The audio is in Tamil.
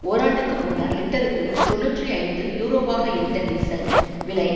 ஓராண்டுக்கு முன்னர் லிட்டருக்கு தொன்னூற்றி ஐந்து யூரோவாக இருந்த டீசல் விலை